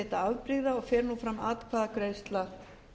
við tuttugustu og fjórðu grein laga